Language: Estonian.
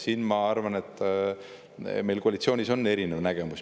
Siin, ma arvan, on meil koalitsioonis erinevaid nägemusi.